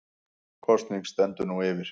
Kosning stendur nú yfir